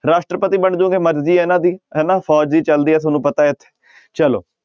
ਰਾਸ਼ਟਰਪਤੀ ਬਣ ਜਾਓਗੇ ਮਰਜ਼ੀ ਹੈ ਇਹਨਾਂ ਦੀ ਹਨਾ ਫ਼ੋਜ਼ ਦੀ ਚੱਲਦੀ ਹੈ ਤੁਹਾਨੂੰ ਪਤਾ ਹੈ ਚਲੋ।